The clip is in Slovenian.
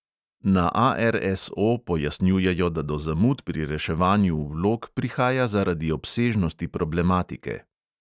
Na ARSO pojasnjujejo, da do zamud pri reševanju vlog prihaja zaradi obsežnosti problematike.